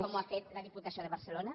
com ho ha fet la diputació de barcelona